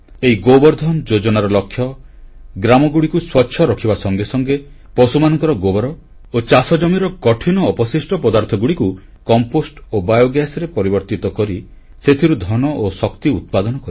ଏହି ଗୋବର୍ଦ୍ଧନ ଯୋଜନାର ଲକ୍ଷ୍ୟ ଗ୍ରାମଗୁଡ଼ିକୁ ସ୍ୱଚ୍ଛ ରଖିବା ସଙ୍ଗେ ସଙ୍ଗେ ପଶୁମାନଙ୍କର ଗୋବର ଓ ଚାଷଜମିର କଠିନ ଅବଶିଷ୍ଟ ପଦାର୍ଥଗୁଡ଼ିକୁ କମ୍ପୋଷ୍ଟ ଓ ବାୟୋଗ୍ୟାସରେ ପରିବର୍ତ୍ତିତ କରି ସେଥିରୁ ଧନ ଓ ଶକ୍ତି ଉତ୍ପାଦନ କରିବା